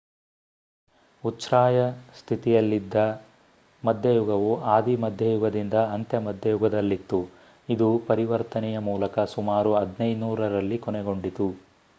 ಉಚ್ಛ್ರಾಯ ಸ್ಥಿತಿಯಲ್ಲಿದ್ದ ಮಧ್ಯಯುಗವು ಆದಿ ಮಧ್ಯಯುಗದಿಂದ ಅಂತ್ಯ ಮಧ್ಯಯುಗದಲ್ಲಿತ್ತು ಇದು ಪರಿವರ್ತನೆಯ ಮೂಲಕ ಸುಮಾರು 1500 ರಲ್ಲಿ ಕೊನೆಗೊಂಡಿತು